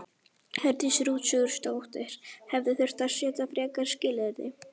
Hjördís Rut Sigurjónsdóttir: Hefði þurft að setja frekari skilyrði?